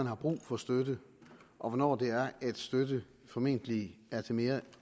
er brug for støtte og hvornår støtten formentlig er til mere